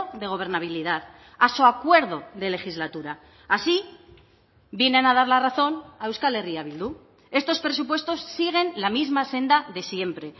de gobernabilidad a su acuerdo de legislatura así vienen a dar la razón a euskal herria bildu estos presupuestos siguen la misma senda de siempre